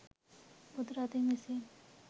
බුදු රදුන් විසින්